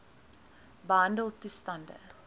behandeltoestande